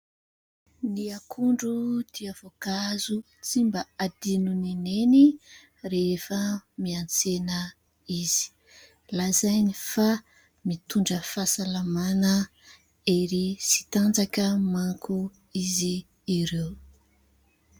Ny akondro dia voankazo tsy mba adinon'i Neny rehefa miantsena izy. Lazainy fa mitondra fahasalamana, hery sy tanjaka manko izy ireo.